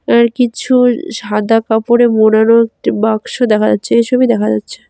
আর কিছু সাদা কাপড়ে মোড়ানো একটি বাক্স দেখা যাচ্ছে এসবই দেখা যাচ্ছে।